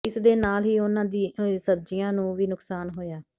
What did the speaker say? ਇਸਦੇ ਨਾਲ ਹੀ ਉਹਨਾਂ ਦੀ ਸਬਜੀਆਂ ਨੂੰ ਵੀ ਨੁਕਸਾਨ ਹੋਇਆ